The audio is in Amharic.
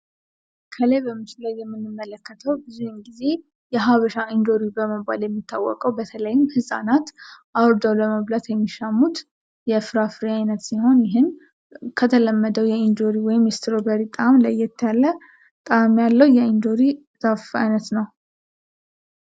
ከላይ በምስሉ ላይ የምንመለከተው ብዙውን ጊዜ የሃበሻ እንጆሪ በመባል የሚታወቀው በተለይም ህጻናት አውርደው ለመብላት የሚሻሙት የፍራፍሬ አይነት ሲሆን፤ ይህም ከተለመደው የእንጆሪ ወይም የስትሮበሪ ጣእም ለየት ያለ ጣእም ያለው የኢንጆሪ ዛፍ አይነት ነው።